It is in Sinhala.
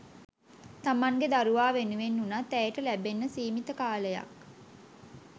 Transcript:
තමන්ගෙ දරුවා වෙනුවෙන් වුණත් ඇයට ලැබෙන්න සීමිත කාලයක්